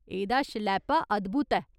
एह्दा शलैपा अद्भुत ऐ।